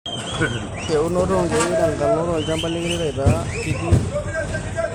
Eunoto okiek tenkalo lchambai keret aitaa kitii euro enkulupuoni.